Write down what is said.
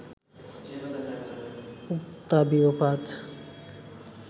Octavio Paz